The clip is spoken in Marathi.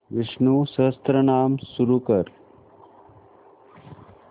विष्णु सहस्त्रनाम सुरू कर